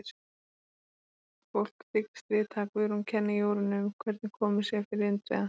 Fólk þykist vita að Guðrún kenni Jórunni um hvernig komið sé fyrir Indriða.